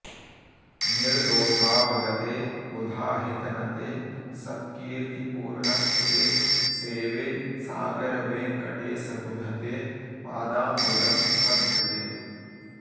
निर्दोषावगते बुधाहितनते सत्कीर्तिपूर्णक्षिते सेवे सागरवेङ्कटेशबुध ते पादाम्बुजं सद्वृते